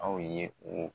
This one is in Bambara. Aw ye o